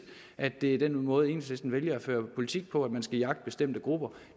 at det er den måde enhedslisten vælger at føre politik på altså at man skal jagte bestemte grupper